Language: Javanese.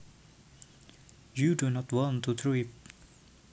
You do not want to trip